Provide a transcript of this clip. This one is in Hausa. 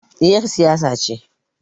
Ni er siyasa ce